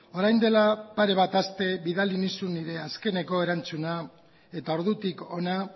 orain dela pare bat aste bidali nizun nire azkeneko erantzuna eta ordutik hona